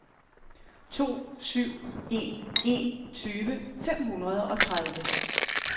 to syv en en tyve fem hundrede og tredive